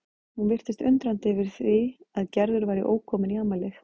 Hún virtist undrandi yfir því að Gerður væri ókomin í afmælið.